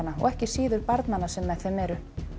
og ekki síður barnanna sem með þeim eru